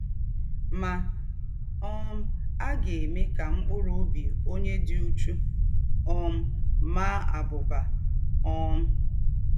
Ma, um a ga - eme ka mkpụrụ ọbi ọnye dị ụchụ um maa abụba um. ”